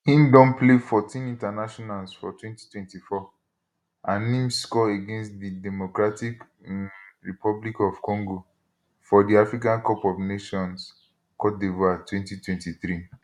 im don play 14 internationals for 2024 and im score against di democratic um republic of congo for di africa cup of nations cote divoire 2023